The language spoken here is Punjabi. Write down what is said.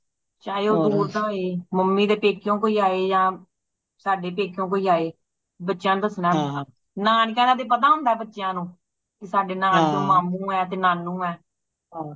ਚਾਹੇ ਉਹ ਬੋਲਦਾ ਏ ਮੰਮੀ ਦੇ ਪੈਕੇਯੋ ਕੋਈ ਆਏ ਯਾ ਸਾਡੇ ਪੈਕੇਯੋ ਕੋਈ ਆਏ ਬੱਚਿਆਂ ਨੂੰ ਦਸਣਾ ਪੈਂਦਾ ਨਾਨਕੇਯਾ ਦਾ ਤੇ ਪਤਾ ਹੁੰਦਾ ਬੱਚਿਆਂ ਨੂੰ ਕਿ ਸਾਡੇ ਮਾਮੂ ਏ ਕ ਨਾਨੂ ਏ